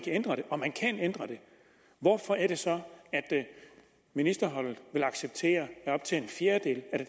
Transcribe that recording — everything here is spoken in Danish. hvorfor er det så at ministerholdet vil acceptere at op til en fjerdedel af